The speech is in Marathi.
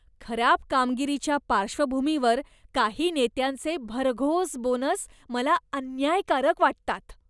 खराब कामगिरीच्या पार्श्वभूमीवर काही नेत्यांचे भरघोस बोनस मला अन्यायकारक वाटतात.